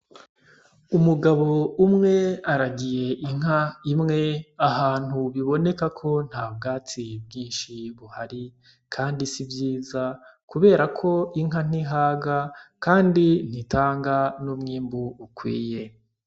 Umugabo umwe aragiye inka imwe ahantu biboneka ko nta bwatsi bwinshi buhari kandi si vyiza kubera ko inka ntihaga kandi ntitanga n'umwimbu ukwiye